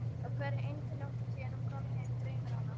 Á hverri einustu nóttu síðan hún kom heim dreymir hana